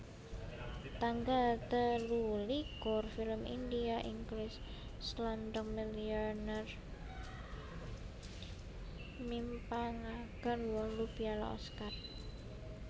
Tanggal telulikur Film India Inggris Slumdog Millionaire mimpangaken wolu piala Oscar